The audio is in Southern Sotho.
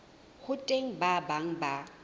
ho teng ba bang ba